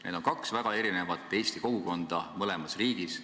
Need on kaks väga erinevat eesti kogukonda.